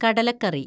കടലക്കറി